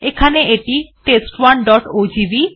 এখানে এটি test1ওজিভি